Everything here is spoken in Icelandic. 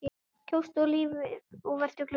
Kjóstu lífið og vertu glöð.